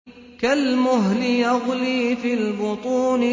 كَالْمُهْلِ يَغْلِي فِي الْبُطُونِ